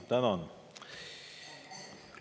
Tänan!